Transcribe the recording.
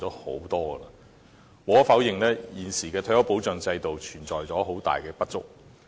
無可否認，現時的退休保障制度存在很大的不足。